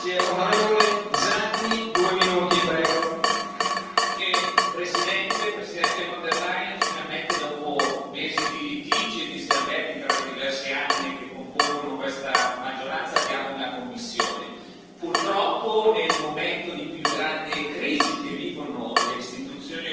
Signor Presidente, onorevoli colleghi, signora Presidente von der Leyen, finalmente, dopo mesi di litigi e di sgambetti tra le diverse anime che compongono questa maggioranza, abbiamo una Commissione. Purtroppo, nel momento di più grande crisi che vivono le Istituzioni europee, avremo la Commissione più debole, una Commissione